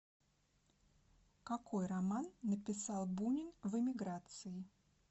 какой роман написал бунин в эмиграции